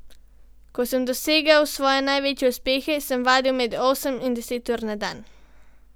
Ko sem dosegal svoje največje uspehe, sem vadil med osem in deset ur na dan.